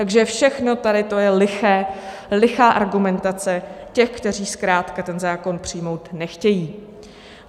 Takže všechno tady to je liché, lichá argumentace těch, kteří zkrátka ten zákon přijmout nechtějí.